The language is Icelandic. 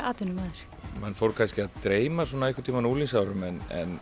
atvinnumaður mann fór kannski að dreyma svona einhverntíma á unglingsárunum en